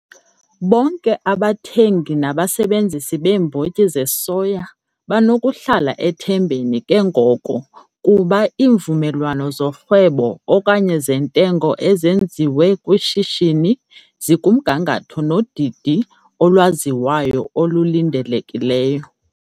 Bonke abathengi nabasebenzisi beembotyi zesoya banokuhlala ethembeni ke ngoko lokuba iimvumelwano zorhwebo okanye zentengo ezenziwe kwishishini ezenziwe kwishishini zikumgangatho nodidi olwaziwayo olulindelekileyo.